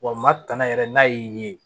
Wa matana yɛrɛ n'a y'i ye